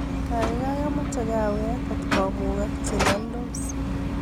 gaigai amoche kaawek kotkomugak cheloldos